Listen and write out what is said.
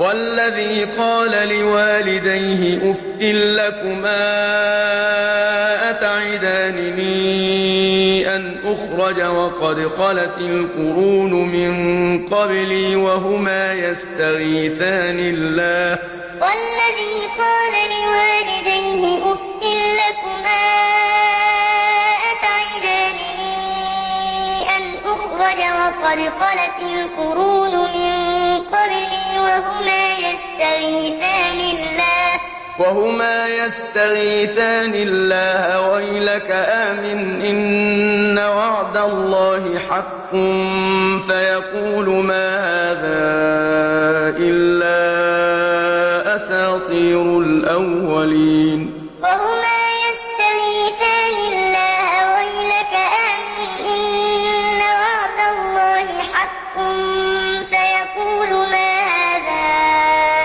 وَالَّذِي قَالَ لِوَالِدَيْهِ أُفٍّ لَّكُمَا أَتَعِدَانِنِي أَنْ أُخْرَجَ وَقَدْ خَلَتِ الْقُرُونُ مِن قَبْلِي وَهُمَا يَسْتَغِيثَانِ اللَّهَ وَيْلَكَ آمِنْ إِنَّ وَعْدَ اللَّهِ حَقٌّ فَيَقُولُ مَا هَٰذَا إِلَّا أَسَاطِيرُ الْأَوَّلِينَ وَالَّذِي قَالَ لِوَالِدَيْهِ أُفٍّ لَّكُمَا أَتَعِدَانِنِي